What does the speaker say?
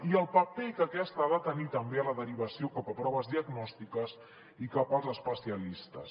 i el paper que aquesta ha de tenir també en la derivació cap a proves diagnòstiques i cap als especialistes